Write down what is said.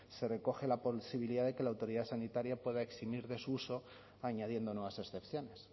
se recoge la posibilidad de que la autoridad sanitaria pueda eximir de su uso añadiendo nuevas excepciones